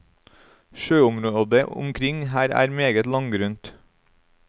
Sjøområdet omkring her er meget langgrunt.